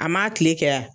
A ma kile kɛ ya